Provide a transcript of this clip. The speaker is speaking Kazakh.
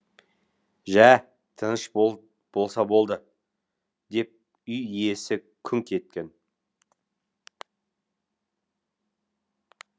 жә тыныш болса болды деп үй иесі күңк еткен